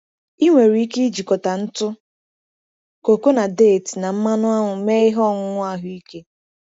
Ị nwere ike ijikọta ntụ koko na deeti na mmanụ aṅụ mee ihe ọṅụṅụ ahụike.